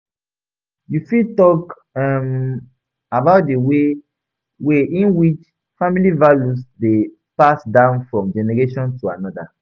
You fit talk um about di way way in which family values dey pass down from generation to another.